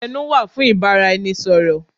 Ẹnu wà fún ìbáraẹnisọ̀rọ̀.